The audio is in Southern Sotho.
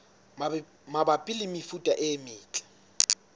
mabapi le mefuta e metle